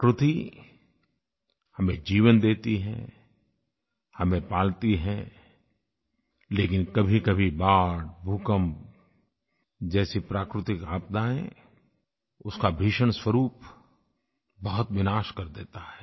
प्रकृति हमें जीवन देती है हमें पालती है लेकिन कभीकभी बाढ़ भूकम्प जैसी प्राकृतिक आपदायें उसका भीषण स्वरूप बहुत विनाश कर देता है